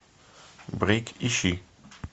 брейк ищи